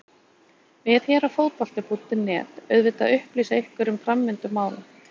Við hér á Fótbolti.net auðvitað upplýsa ykkur um framvindu mála.